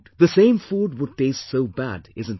The same food would taste so bad, isn't it